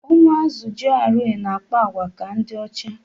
Ụmụazi GRA na-akpa àgwà ka ndị ocha